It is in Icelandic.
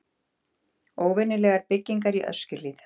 Óvenjulegar byggingar í Öskjuhlíð